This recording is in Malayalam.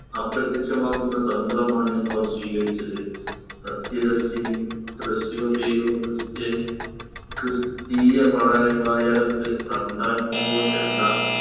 അപ്രത്യക്ഷമാക്കുന്ന തന്ത്രമാണ് അവർ സ്വീകരിച്ചത് സത്യദർശിനി തൃശ്ശിവപേരൂർ christian ക്രിസ്തിയ വായ വായടത്ത് തമ്പാൻ കുണ്ടോ ചെണ്ട